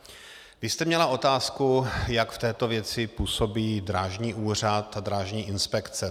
Vy jste měla otázku, jak v této věci působí Drážní úřad a Drážní inspekce.